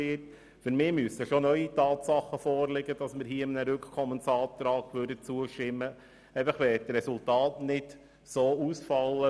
Meines Erachtens müssen schon neue Tatsachen vorliegen, damit wir einem Rückkommensantrag zustimmen könnten.